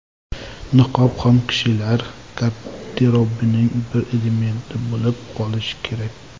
Niqob ham kishilar garderobining bir elementi bo‘lib qolishi kerak.